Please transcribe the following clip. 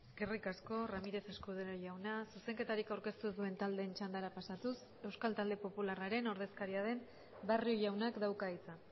eskerrik asko ramírez escudero jauna zuzenketarik aurkeztu ez duen taldeen txandara pasatuz euskal talde popularraren ordezkaria den barrio jaunak dauka hitza